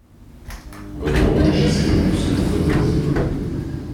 V domu je še sedem prosilcev za azil.